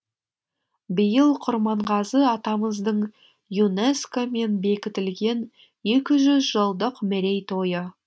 биыл құрманғазы атамыздың юнеско мен бекітілген екі жүз жылдық мерейтойы